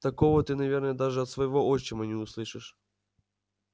такого ты наверное даже от своего отчима не услышишь